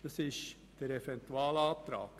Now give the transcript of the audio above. Das ist der Eventualantrag.